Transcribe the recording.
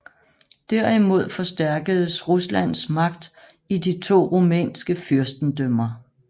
Derimod forstærkedes Ruslands magt i de to rumænske fyrstendømmer